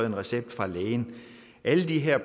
en recept af lægen alle de her